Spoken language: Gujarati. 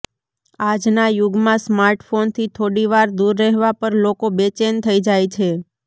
આજના યુગમાં સ્માર્ટફોનથી થોડી વાર દૂર રહેવા પર લોકો બેચેન થઈ જાય છે